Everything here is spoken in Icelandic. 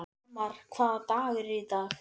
Hólmar, hvaða dagur er í dag?